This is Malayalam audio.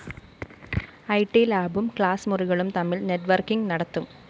ഇ ട്‌ ലാബും ക്ലാസ്മുറികളും തമ്മില്‍ നെറ്റ്വർക്കിംഗ്‌ നടത്തും